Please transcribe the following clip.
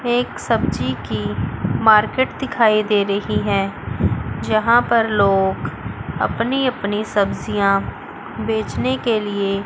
एक सब्जी की मार्केट दिखाई दे रही है यहां पर लोग अपनी अपनी सब्जियां बेचने के लिए--